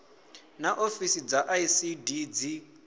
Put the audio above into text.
naa ofisi dza icd dzi